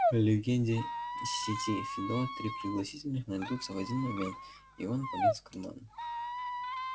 легенде сети фидо три пригласительных найдутся в один момент и он полез в карман